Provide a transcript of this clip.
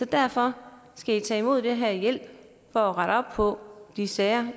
derfor skal i tage imod den her hjælp for at rette op på de sager